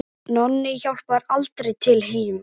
Nonni hjálpar aldrei til heima.